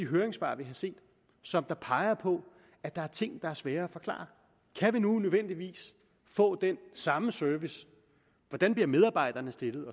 høringssvar vi har set som peger på at der er ting der er svære at forklare kan vi nu nødvendigvis få den samme service hvordan bliver medarbejderne stillet